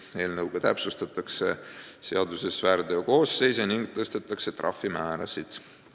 Eelnõuga täpsustatakse seaduses väärteokoosseise ning tõstetakse trahvimäärasid.